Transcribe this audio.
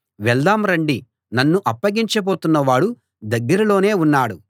వెళ్దాం రండి నన్ను అప్పగించబోతున్న వాడు దగ్గరలోనే ఉన్నాడు